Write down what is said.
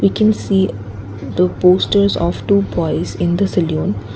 we can see the posters of two boys in the saloon.